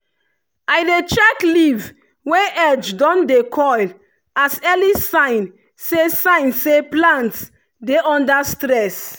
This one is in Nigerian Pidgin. i dey check leaf wey edge don dey curl as early sign say sign say plant dey under stress.